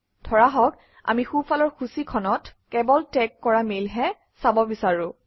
ধৰা হওক আমি সোঁফালৰ সূচীখনত কেৱল টেগ কৰা মেইলহে চাব বিচাৰোঁ